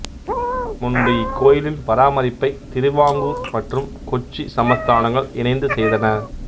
முன்பு இக்கோயிலின் பராமரிப்பை திருவாங்கூர் மற்றும் கொச்சி சமஸ்தானங்கள் இணைந்து செய்தன